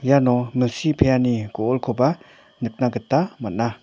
iano milsi pe·ani go·olkoba nikna gita man·a.